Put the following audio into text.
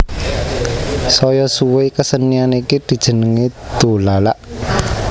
Saya suwé kesenian iki dijenengi dolalak